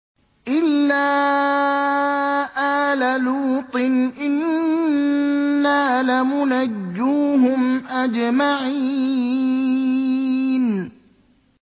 إِلَّا آلَ لُوطٍ إِنَّا لَمُنَجُّوهُمْ أَجْمَعِينَ